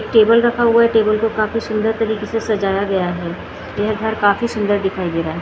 Table रखा हुआ है टेबल को काफी सुंदर तरीके से सजाया गया है यह घर काफी सुंदर दिखाई दे रहा है।